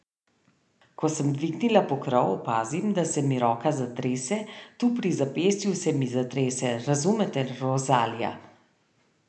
Ko sem dvignila pokrov, opazim, da se mi roka zatrese, tu pri zapestju se mi zatrese, razumete, Rozalija?